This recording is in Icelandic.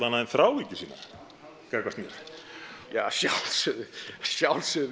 annað en þráhyggju gagnvart mér að sjálfsögðu